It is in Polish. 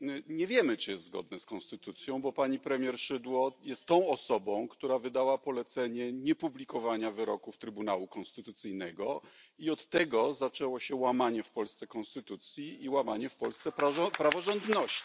Nie wiemy, czy jest zgodne z konstytucją, bo pani premier Szydło jest tą osobą, która wydała polecenie niepublikowania wyroków Trybunału Konstytucyjnego, i od tego zaczęło się łamanie w Polsce konstytucji i łamanie w Polsce praworządności.